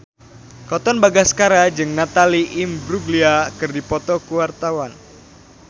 Katon Bagaskara jeung Natalie Imbruglia keur dipoto ku wartawan